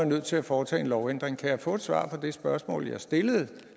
nødt til at foretage en lovændring kan jeg få et svar på det spørgsmål jeg har stillet